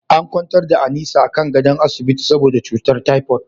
An kwantar da Anita akan gadon asibiti saboda cutar typoid.